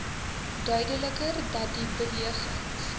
duideliker datdie beweging